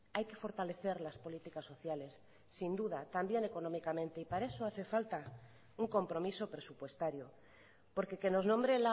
hay que fortalecer las políticas sociales sin duda también económicamente y para eso hace falta un compromiso presupuestario porque que nos nombre